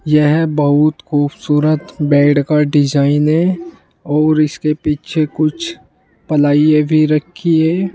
यह बहुत खूबसूरत बेड का डिजाइन है और इसके पीछे कुछ पलाइए भी रखी है।